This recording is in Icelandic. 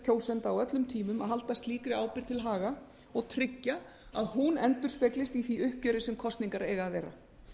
kjósenda á öllum tímum að halda slíkri ábyrgð til haga og tryggja að hún endurspeglist í því uppgjöri sem kosningar eiga að vera